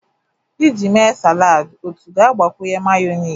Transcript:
Iji mee salad otu ga-agbakwunye mayonezi.